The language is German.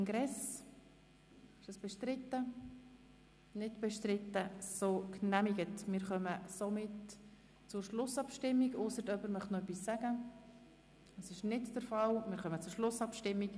Wir haben heute Nachmittag per Abstimmung entschieden, dieses Geschäft in freier Debatte zu beraten.